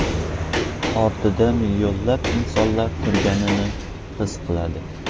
Ortida millionlab insonlar turganini his qiladi.